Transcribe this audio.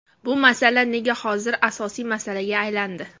Bu masala nega hozir asosiy masalaga aylandi?